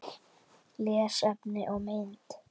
Lesefni og mynd